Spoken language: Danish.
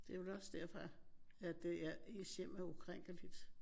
Det er vel også derfor at det er ens hjem er ukrænkeligt